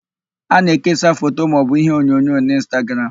A na-ekesa foto maọbụ iheonyonyo n'Ịnstagram.